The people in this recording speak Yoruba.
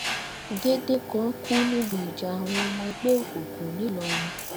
gédé kan kú níbi ìjà àwọn ọmọ ẹgbẹ òkùnkùn ńìlọrin